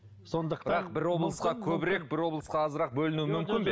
сондықтан бірақ облысқа көбірек бір облысқа азырақ бөлінуі мүмкін бе